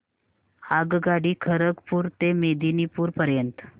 आगगाडी खरगपुर ते मेदिनीपुर पर्यंत